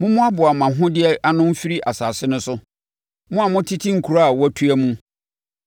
Mommoaboa mo ahodeɛ ano mfiri asase no so, mo a motete nkuro a wɔatua mu.